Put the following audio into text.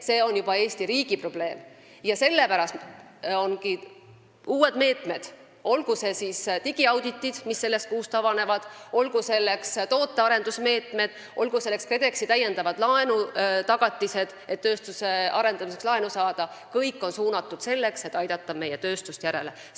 See on juba Eesti riigi probleem ja sellepärast meil ongi uued meetmed, olgu selleks digiauditite meetmed, mis sellest kuust avanevad, tootearendusmeetmed või KredExi täiendavad laenutagatised, et tööstuse arendamiseks laenu saada – kõik on suunatud sellele, et meie tööstust järele aidata.